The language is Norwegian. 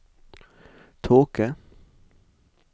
tåke